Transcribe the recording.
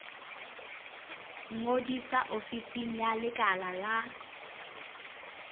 ngodisa ofising ya lekala la